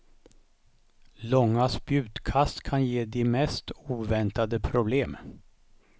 Långa spjutkast kan ge de mest oväntade problem.